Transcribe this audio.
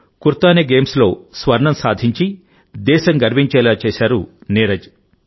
Kuortane గేమ్స్లో స్వర్ణం సాధించి దేశం గర్వించేలా చేశారు నీరజ్